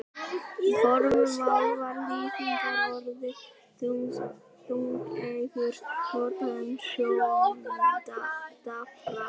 Í fornu máli var lýsingarorðið þungeygur notað um sjóndapra.